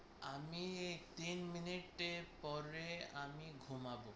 আমি এই তিন মিনিটের পরে আমি ঘুমাব।